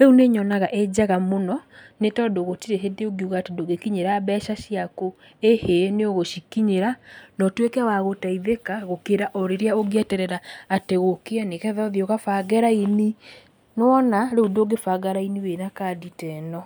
Rĩu nĩ nyonaga ĩnjega mũno, nĩ tondũ gũtirĩ hĩndĩ ũngiuga atĩ ndũngĩkinyĩra mbeca ciaku ĩhĩ nĩ ũgũicikinyĩra, na ũtuĩke wa gũteithĩka gũkĩra o rĩrĩa ũngĩeterera atĩ gũkĩe nĩgetha ũthiĩ ũgabange raini, nĩ wona rĩu ndũngĩbanga raini wĩna kandĩ teno.